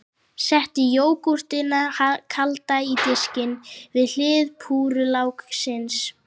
Settu jógúrtina kalda á diskinn, við hlið púrrulauksins.